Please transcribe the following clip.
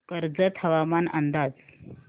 कर्जत हवामान अंदाज